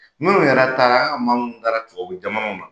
Minnu yɛrɛ taara , an ka man minnu yɛrɛ taara tubabu jamana na